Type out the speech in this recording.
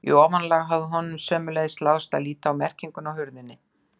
Í ofanálag hafði honum sömuleiðis láðst að líta á merkinguna á hurðinni.